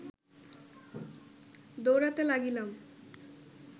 দৌড়াতে লাগিলাম